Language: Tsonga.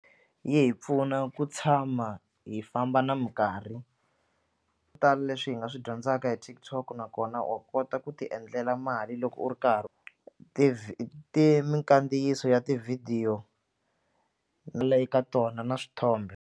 Yi hi pfuna ku tshama hi famba na mikarhi tala leswi hi nga swi dyondzaka hi TikTok nakona wa kota ku tiendlela mali loko u ri karhi ti mikandziyiso ya tivhidiyo eka tona na swithombe.